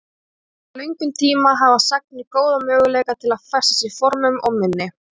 Á svo löngum tíma hafa sagnir góða möguleika til að festast í formum og minni.